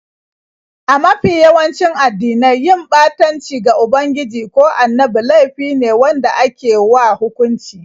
A mafi yawanci addinai, yin ɓatanci ga ubangiji ko annabi laifi ne wanda ake wa hukunci.